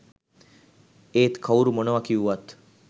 ඒත් කවුරු මොනවා කිව්වත්